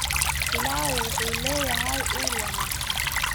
Pilau wuxuu leeyahay ur wanaagsan.